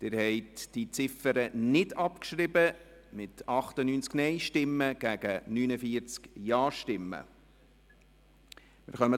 Sie haben die Ziffer 1 nicht abgeschrieben mit 98 Nein- gegen 49 Ja-Stimmen.